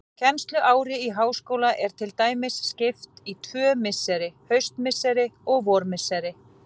Kennsluári í háskóla er til dæmis skipt í tvö misseri, haustmisseri og vormisseri.